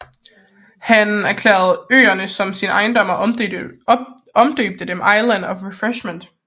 Han erklærede øerne som sin ejendom og omdøbte dem Islands of Refreshment